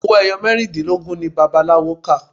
Owó ẹyọ mẹ́rìndínlógún ni bàbá aláwo kà.